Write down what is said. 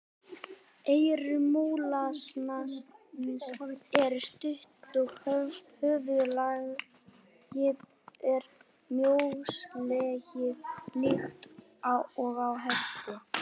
Eyru múlasnans eru stutt og höfuðlagið er mjóslegið líkt og á hesti.